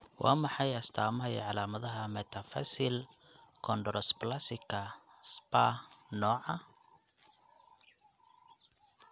Waa maxay astaamaha iyo calaamadaha Metaphyseal chondrodysplasika Spahr nooca?